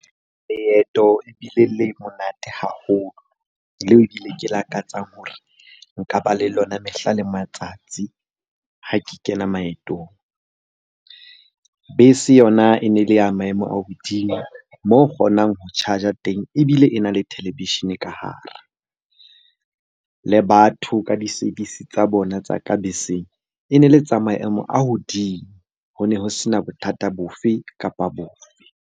Leeto ebile le monate haholo, leo ebile ke lakatsang hore nka ba le lona mehla le matsatsi ha ke kena maetong. Bese yona e ne le ya maemo a hodimo mo kgonang ho charge-a teng, ebile e na le televishene ka hare. Le batho ka di-service tsa bona tsa ka beseng e ne le tsa maemo a hodimo. Ho ne ho sena bothata bo fe kapa bo fe.